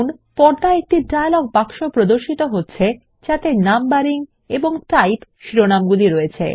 পর্দায় একটি ডায়লগ বাক্স প্রদর্শিত হচ্ছে যাতে নাম্বারিং এবং টাইপ শিরোনামগুলি রয়েছে